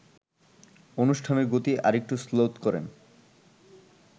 অনুষ্ঠানের গতি আরেকটু শ্লথ করেন